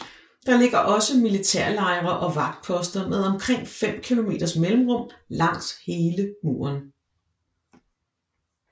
Der ligger også militærlejre og vagtposter med omkring 5 kilometers mellemrum langs hele muren